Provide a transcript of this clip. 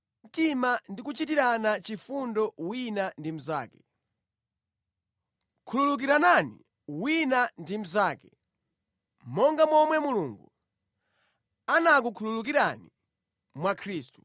Mukomerane mtima ndi kuchitirana chifundo wina ndi mnzake. Khululukiranani wina ndi mnzake, monga momwe Mulungu anakukhululukirani mwa Khristu.